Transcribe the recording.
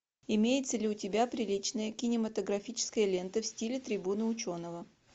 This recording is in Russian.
имеется ли у тебя приличная кинематографическая лента в стиле трибуна ученого